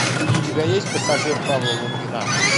у тебя есть пассажир павла лунгина